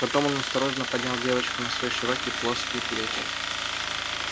потом он осторожно поднял девочку на свои широкие плоские плечи